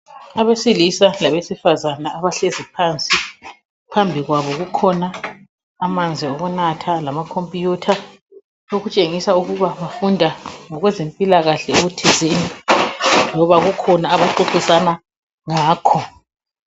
Abesilisa labesifazana abahlezi phansi phambi kwabo kukhona amanzi okunatha lamacomputer okutshengisa ukubana bafunda ngokwezempikahle loba kukhona abaxoxisana ngakho